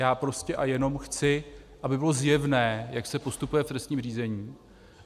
Já prostě a jenom chci, aby bylo zjevné, jak se postupuje v trestním řízení.